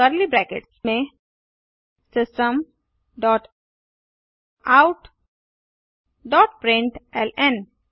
curly brackets में system dot out dot println